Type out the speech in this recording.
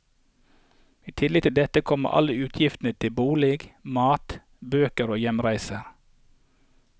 I tillegg til dette kommer alle utgifter til bolig, mat, bøker og hjemreiser.